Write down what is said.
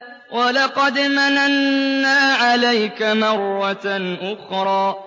وَلَقَدْ مَنَنَّا عَلَيْكَ مَرَّةً أُخْرَىٰ